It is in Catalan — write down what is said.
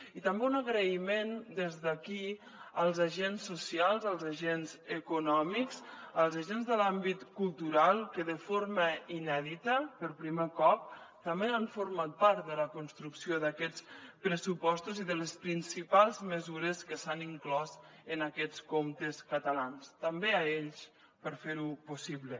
i també un agraïment des d’aquí als agents socials als agents econòmics als agents de l’àmbit cultural que de forma inèdita per primer cop també han format part de la construcció d’aquests pressupostos i de les principals mesures que s’han inclòs en aquests comptes catalans també a ells per fer ho possible